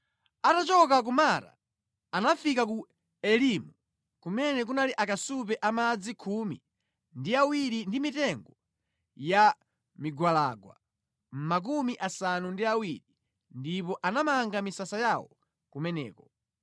Atachoka ku Mara anafika ku Elimu, kumene kunali akasupe a madzi khumi ndi awiri ndi mitengo ya migwalangwa 70 ndipo anamanga misasa yawo kumeneko.